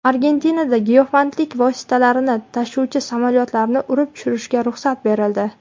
Argentinada giyohvandlik vositalarini tashuvchi samolyotlarni urib tushirishga ruxsat berildi.